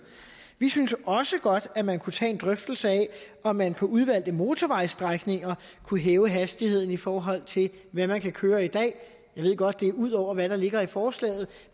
vi synes også godt at man kunne tage en drøftelse af om man på udvalgte motorvejsstrækninger kunne hæve hastigheden i forhold til hvad man kan køre i dag jeg ved godt at det er ud over hvad der ligger i forslaget